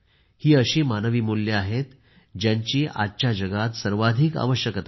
ही अशी मानवी मुल्ये आहेत ज्यांची आजच्या जगात सर्वाधिक आवशक्यता आहे